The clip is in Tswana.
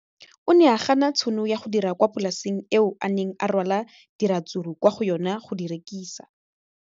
O ne a gana tšhono ya go dira kwa polaseng eo a neng rwala diratsuru kwa go yona go di rekisa.